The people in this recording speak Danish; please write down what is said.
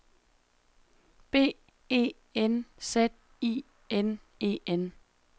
B E N Z I N E N